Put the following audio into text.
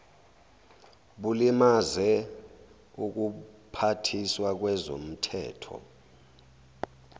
bulimaze ubuphathiswa bezomthetho